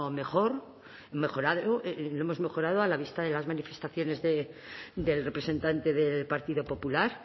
mejor mejorado lo hemos mejorado a la vista de las manifestaciones del representante del partido popular